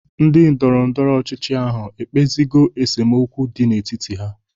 Ndị ndọrọndọrọ ọchịchị ahụ ekpezigo esemokwu dị n'etiti ha?